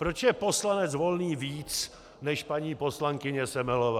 Proč je poslanec Volný víc než paní poslankyně Semelová?